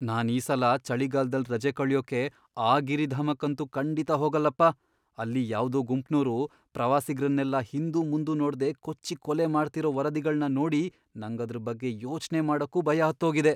ನಾನ್ ಈ ಸಲ ಚಳಿಗಾಲ್ದಲ್ ರಜೆ ಕಳ್ಯೋಕೆ ಆ ಗಿರಿಧಾಮಕ್ಕಂತೂ ಖಂಡಿತ ಹೋಗಲ್ಲಪ್ಪ. ಅಲ್ಲಿ ಯಾವ್ದೋ ಗುಂಪ್ನೋರು ಪ್ರವಾಸಿಗ್ರನ್ನೆಲ್ಲ ಹಿಂದುಮುಂದು ನೋಡ್ದೇ ಕೊಚ್ಚಿ ಕೊಲೆ ಮಾಡ್ತಿರೋ ವರದಿಗಳ್ನ ನೋಡಿ ನಂಗದ್ರ್ ಬಗ್ಗೆ ಯೋಚ್ನೆ ಮಾಡಕ್ಕೂ ಭಯ ಹತ್ತೋಗಿದೆ.